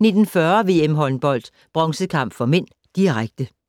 19:40: VM-håndbold: Bronzekamp (m), direkte